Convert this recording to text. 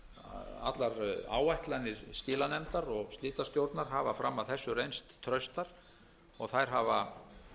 að allar áætlanir skilanefndar og slitastjórnar hafa fram að þessu reynst traustar og þær hafa